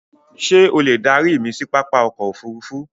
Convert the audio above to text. Ṣé o lè darí mi sí pápá ọkọ̀ òfurufú?